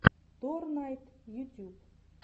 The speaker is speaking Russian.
торнайд ютьюб